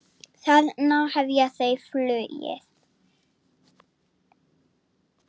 Þannig hefja þau flugið.